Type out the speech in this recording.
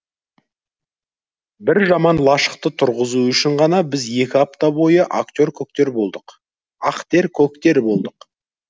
бір жаман лашықты тұрғызу үшін ғана біз екі апта бойы ақтер көктер болдық